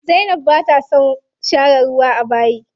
Zainab bata son share ruwa a bayi.